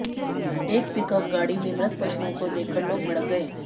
एक पिकअप गाड़ी में मृत पशुओं को देखकर लोग भड़क गए